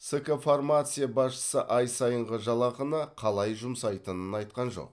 ск фармация басшысы ай сайынғы жалақыны қалай жұмсайтынын айтқан жоқ